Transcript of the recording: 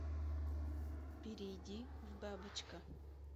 перейди в бабочка